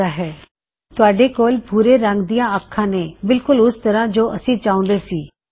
you have brown eyes ਤੁਹਾਡੇ ਕੋਲ ਭੂਰੇ ਰੰਗ ਦੀਆਂ ਅਖਾਂ ਨੇ ਬਿਲਕੁਲ ਉਸ ਤਰਹ ਜੋ ਅਸੀ ਚਾਹੁੰਦੇ ਸੀ